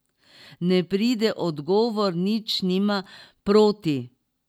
Ne, pride odgovor, nič nima proti.